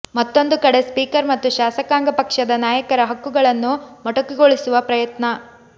ಮತ್ತೊಂದು ಕಡೆ ಸ್ಪೀಕರ್ ಮತ್ತು ಶಾಸಕಾಂಗ ಪಕ್ಷದ ನಾಯಕರ ಹಕ್ಕುಗಳನ್ನು ಮೊಟಕುಗೊಳಿಸುವ ಪ್ರಯತ್ನ